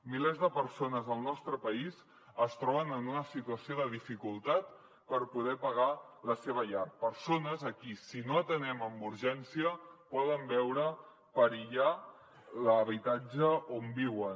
milers de persones al nostre país es troben en una situació de dificultat per poder pagar la seva llar persones que si no les atenem amb urgència poden veure perillar l’habitatge on viuen